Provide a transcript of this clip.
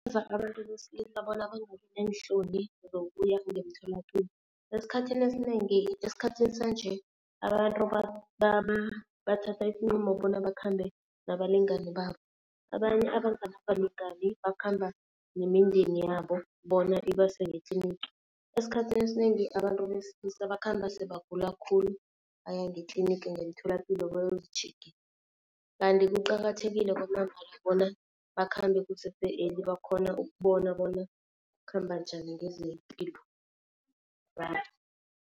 abantu besilisa bona bangabi neenhloni zokuya ngemtholapilo. Esikhathini esinengi, esikhathini sanje abantu bathatha isinqumo bona bakhambe nabalingani babo. Abanye abanganabalingani bakhamba nemindeni yabo bona ibase ngetlinigi. Esikhathini esinengi abantu besilisa bakhamba sebagula khulu, aya ngetlinigi ngemtholapilo bayozitjhegisa. Kanti kuqakathekile kwamambala bona bakhambe kusese-early bakhone ukubona bona khamba njani ngezepilo .